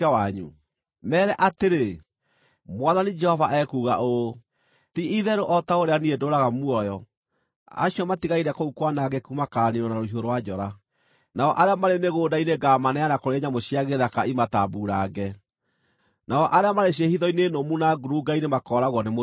“Meere atĩrĩ: ‘Mwathani Jehova ekuuga ũũ: Ti-itherũ o ta ũrĩa niĩ ndũũraga muoyo, acio matigaire kũu kwanangĩku makaaniinwo na rũhiũ rwa njora, nao arĩa marĩ mĩgũnda-inĩ ngaamaneana kũrĩ nyamũ cia gĩthaka imatambuurange, nao arĩa marĩ ciĩhitho-inĩ nũmu na ngurunga-inĩ makooragwo nĩ mũthiro.